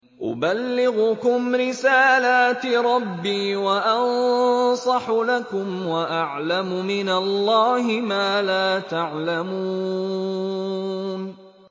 أُبَلِّغُكُمْ رِسَالَاتِ رَبِّي وَأَنصَحُ لَكُمْ وَأَعْلَمُ مِنَ اللَّهِ مَا لَا تَعْلَمُونَ